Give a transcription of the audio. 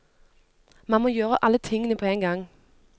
Man må gjøre alle tingene på en gang.